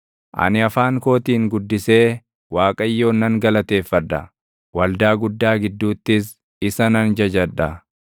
Ani afaan kootiin guddisee Waaqayyoon nan galateeffadha; waldaa guddaa gidduuttis isa nan jajadha.